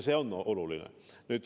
See on oluline.